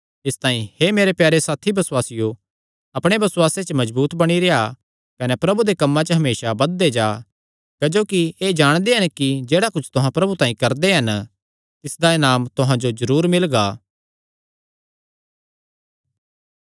इसतांई हे मेरे प्यारे साथी बसुआसियो अपणे बसुआसे मजबूत च बणी रेह्आ कने प्रभु दे कम्मां च हमेसा बधदे जा क्जोकि एह़ जाणदे हन कि जेह्ड़ा कुच्छ तुहां प्रभु तांई करदे हन तिसदा इनाम तुहां जो जरूर मिलगा